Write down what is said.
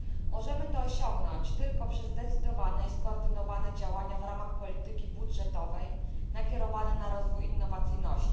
Możemy to osiągnąć tylko przez zdecydowane i skoordynowane działania w ramach polityki budżetowej, nakierowane na rozwój innowacyjności.